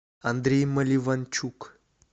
андрей маливанчук